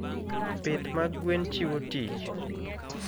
Pith mag gwen chiwo tich.